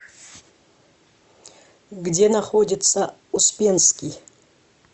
где находится успенский